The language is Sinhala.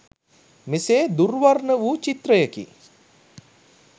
මෙසේ දුර් වර්ණ වූ චිත්‍රයකි.